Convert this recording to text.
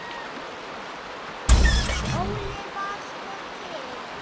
Óli var sko til.